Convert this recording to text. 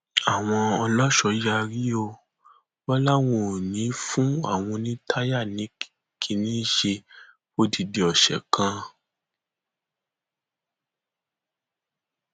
àwọn ọlọṣọ yarí o wọn láwọn ò ní í fún àwọn oní táyà ní kínní ṣe fọdìdì ọsẹ kan